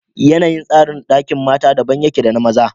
yanayin tsarin Ɗakin mata daban yake da na maza